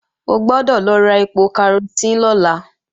O gbọ́dọ̀ lọ ra ẹpo karosín lọ́la